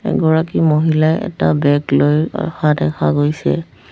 এগৰাকী মহিলাই এটা বেগ লৈ আহা দেখা গৈছে।